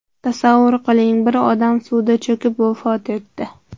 Tasavvur qiling, bir odam suvda cho‘kib vafot etdi.